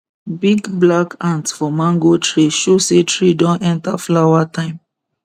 big black ant for mango tree show say tree don enter flower time